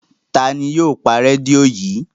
Ta ni yóò pa rédíò yìí?